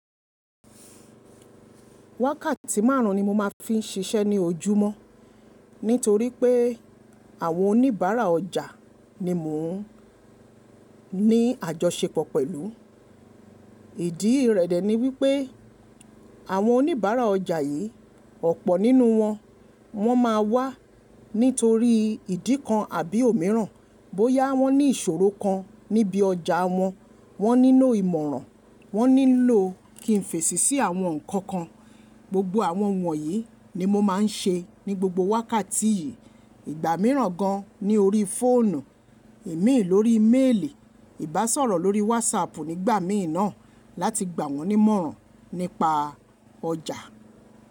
Wákàtí márùn-ún ni mo máa fi ń ṣiṣẹ́ ní ojúmọ́ nítorí pé àwọn oníbàárà ọjà ni mò ń ní àjọṣepọ̀ pẹ̀lú. Ìdí rẹ̀ dẹ̀ ni wípé àwọn oníbàárà ọjà yìí ọ̀pọ̀ nínú wọn, wọ́n máa wá nítorí ìdí kan àbí òmíràn. Bóyá wọ́n ní ìṣòro kan níbi ọjà wọn, wọ́n nílo ìmọ̀ràn, wọ́n nílò kí n fèsì sí àwọn nǹkan kan. Gbogbo àwọn wọ̀nyí ni mo máa ń ṣe ní gbogbo wákàtí yìí. Ìgbà mìíràn gan ní orí fóònù, ìmíì lórí méèlì, ìbásọ̀rọ̀ lórí wásapù nígbà mìíràn láti gbà wọ́n nímọ̀ràn nípa ọjà.